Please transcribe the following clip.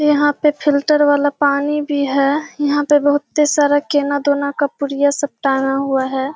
यहाँ पे फ़िल्टर वाला पानी भी है यहाँ पे बहुत सारी केना दोना का पुड़िया सब टांगा हुआ है।